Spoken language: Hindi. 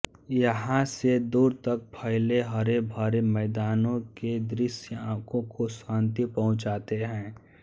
यहाँ से दूर तक फैले हरे भरे मैदानों के दृश्य आँखों को शांति पहुँचाते हैं